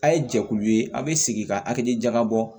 A' ye jɛkulu ye a bɛ sigi ka hakili jagabɔ